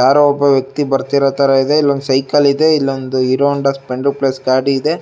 ಯಾರೋ ಒಬ್ಬ ವ್ಯಕ್ತಿ ಬರ್ತಿರೋ ತರಾ ಇದೆ ಇಲ್ಲೊಂದ್ ಸೈಕಲ್ ಇದೆ ಇಲ್ಲೊಂದ್ ಹೀರೋ ಹೋಂಡಾ ಸ್ಪ್ಲೆಂಡರ್ ಪ್ಲಸ್ ಗಾಡಿ ಇದೆ